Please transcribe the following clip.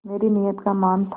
मेरी नीयत का मान था